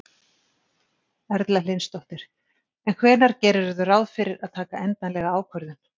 Erla Hlynsdóttir: En hvenær gerirðu ráð fyrir að taka endanlega ákvörðun?